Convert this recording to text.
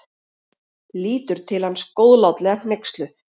Lítur til hans góðlátlega hneyksluð.